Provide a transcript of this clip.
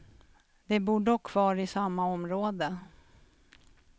De bor dock kvar i samma område.